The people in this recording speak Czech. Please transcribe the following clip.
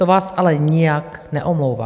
To vás ale nijak neomlouvá.